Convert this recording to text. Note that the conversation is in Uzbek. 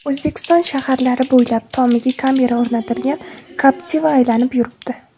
O‘zbekiston shaharlari bo‘ylab tomiga kamera o‘rnatilgan Captiva aylanib yuribdi .